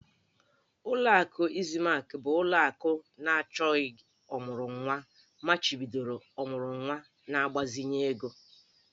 Ụlọ akụ Izlamik bụ ụlọ akụ na achọgị ọmụrụnwa machibidoro ọmụrụnwa na mgbazinye ego